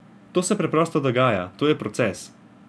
To se preprosto dogaja, to je proces.